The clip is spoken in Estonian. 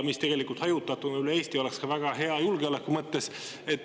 Need tegelikult hajutatuna üle Eesti oleks väga head ka julgeoleku mõttes.